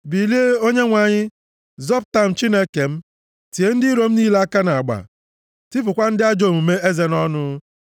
Bilie Onyenwe anyị! Zọpụta m Chineke m! Tie ndị iro m niile aka nʼagba; + 3:7 \+xt Job 16:10\+xt* tipụkwa ndị ajọ omume eze nʼọnụ.